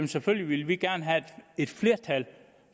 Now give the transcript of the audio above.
selvfølgelig vil vi gerne have et flertal